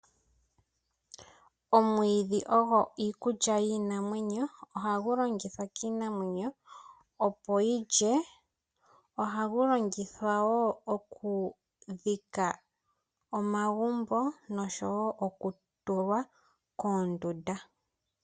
Omwiidhi ogo iikulya yiinanamweno, oha gu longithwa kiinamwenyo opo yilye. Oha gu longithwa woo oku dhika omagumbo nonsho woo oku tulwa koondunda.